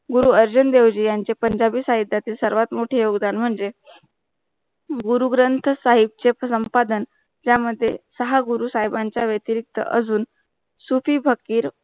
गुरु अर्जुन देवजी यांचा पंजाबी साहिथथिर सर्वातमोठे योवधान म्हणजे गुरु ग्रंथ साहिब चे संपादन त्या मध्ये सा गुरु साहिबांच्या वेंट्रीक्ट अजून सूटही फॅखीर